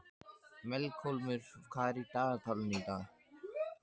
Melkólmur, hvað er í dagatalinu í dag?